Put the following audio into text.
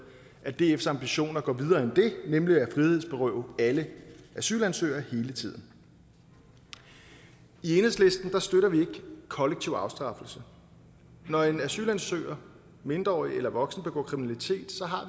at dfs ambition er at gå videre end det nemlig at frihedsberøve alle asylansøgere hele tiden i enhedslisten støtter vi ikke kollektiv afstraffelse når en asylansøger mindreårig eller voksen begår kriminalitet så har